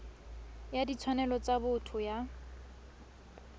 ya ditshwanelo tsa botho ya